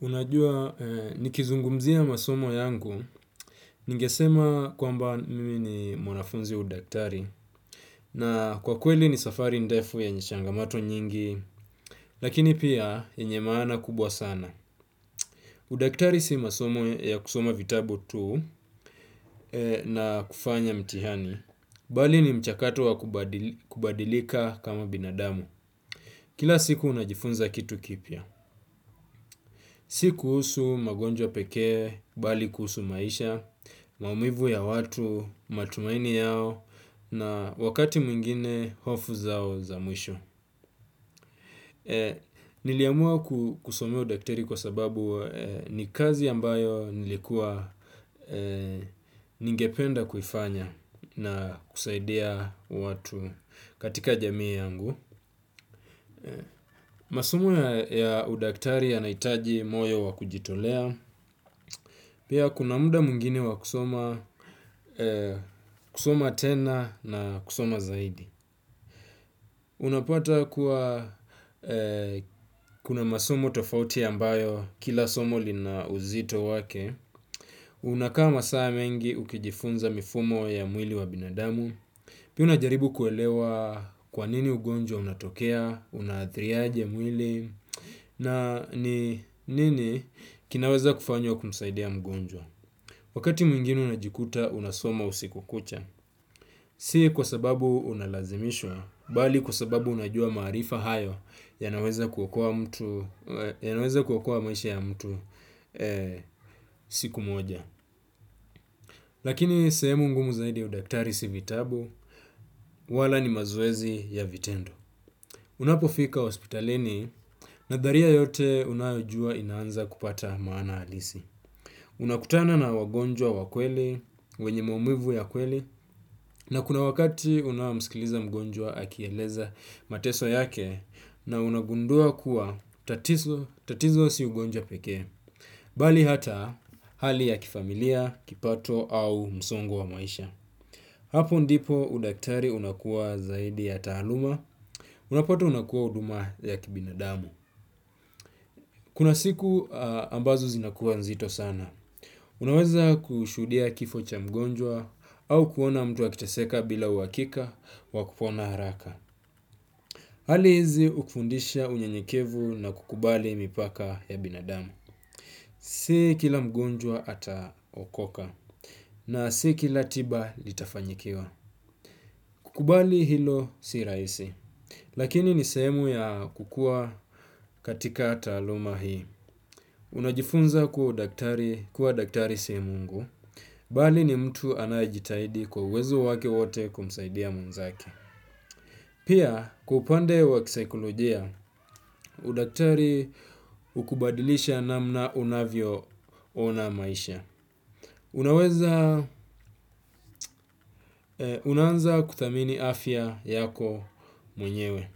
Unajua nikizungumzia masomo yangu, ningesema kwamba mimi ni mwanafunzi wa udaktari, na kwa kweli ni safari ndefu yenye changamato nyingi, lakini pia yenye maana kubwa sana. Udaktari si masomo ya kusoma vitabu tu na kufanya mtihani, bali ni mchakato wa kubadilika kama binadamu. Kila siku unajifunza kitu kipya, si kuhusu magonjwa pekee, bali kuhusu maisha, maumivu ya watu, matumaini yao na wakati mwingine hofu zao za mwisho. Niliamua kusomea udaktari kwa sababu ni kazi ambayo nilikuwa ningependa kuifanya na kusaidia watu katika jamii yangu. Masomo ya udaktari yanahitaji moyo wa kujitolea. Pia kuna muda mwingine wa kusoma kusoma tena na kusoma zaidi. Unapata kuwa kuna masomo tofauti ambayo kila somo lina uzito wake. Unakaa masaa mengi ukijifunza mifumo ya mwili wa binadamu. Pia unajaribu kuelewa kwanini ugonjwa unatokea, unaathiri aje mwili. Na ni nini kinaweza kufanywa kumsaidia mgonjwa? Wakati mwingine unajikuta unasoma usiku kucha. Si kwa sababu unalazimishwa, bali kwa sababu unajua maarifa hayo yanaweza kuokoa mtu yanaweza kuokoa maisha ya mtu siku moja. Lakini sehemu ngumu zaidi ya udaktari si vitabu, wala ni mazoezi ya vitendo. Unapofika hospitalini nadharia yote unayojua inaanza kupata maana halisi. Unakutana na wagonjwa wa kweli, wenye maumivu ya kweli, na kuna wakati unaomsikiliza mgonjwa akieleza mateso yake. Na unagundua kuwa tatizo si ugonjwa pekee bali hata hali ya kifamilia, kipato au msongo wa maisha. Hapo ndipo udaktari unakuwa zaidi ya taaluma, unapata unakuwa huduma ya kibinadamu. Kuna siku ambazo zinakuwa nzito sana. Unaweza kushuhudia kifo cha mgonjwa au kuona mtu akiteseka bila uhakika wa kupona haraka. Hali hizi hukufundisha unyenyekevu na kukubali mipaka ya binadamu. Si kila mgonjwa ataokoka na si kila tiba litafanyikiwa. Kukubali hilo si rahisi. Lakini ni sehemu ya kukuwa katika taaluma hii. Unajifunza kuwa udaktari kuwa daktari si mungu, bali ni mtu anayejitahidi kwa uwezo wake wote kumsaidia mwenzake. Pia, kwa upande wa kisaikolojia, udaktari hukubadilisha namna unavyo ona maisha. Unaweza, unaanza kuthamini afya yako mwenyewe.